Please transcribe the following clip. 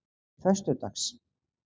föstudags